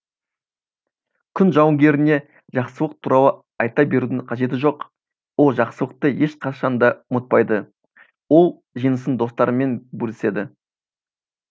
күн жауынгеріне жақсылық туралы айта берудің қажеті жоқ ол жақсылықты ешқашанда ұмытпайды ол жеңісін достарымен бөліседі